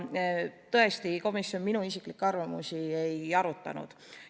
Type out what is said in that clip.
Tõesti, komisjon minu isiklikke arvamusi ei arutanud.